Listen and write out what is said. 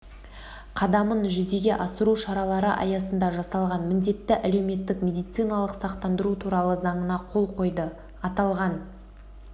қадамын жүзеге асыру шаралары аясында жасалған міндетті әлеуметтік медициналық сақтандыру туралы заңына қол қойды аталған